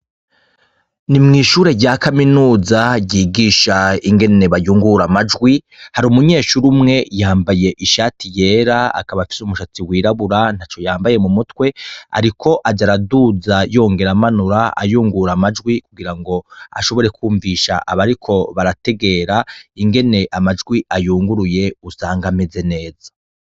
Ni mw'ishure rya kaminuza ryigisha ingene bayungura amajwi hari umunyeshure umwe yambaye ishati yera akabafise umushatsi wirabura nta co yambaye mu mutwe, ariko aja araduza yongera amanura ayungura amajwi kugira ngo ashobore kwumvisha aba, ariko barategerainge ne amajwi ayunguruye usanga ameze neza.